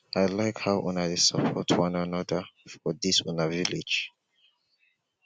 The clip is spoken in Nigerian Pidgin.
i like how una dey support one another for dis una village